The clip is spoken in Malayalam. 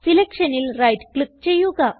Selectionൽ റൈറ്റ് ക്ലിക്ക് ചെയ്യുക